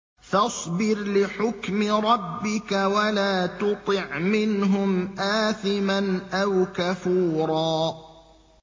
فَاصْبِرْ لِحُكْمِ رَبِّكَ وَلَا تُطِعْ مِنْهُمْ آثِمًا أَوْ كَفُورًا